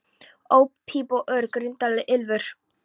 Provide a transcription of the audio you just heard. Óp píp og urr, og grimmdarlegt ýlfur.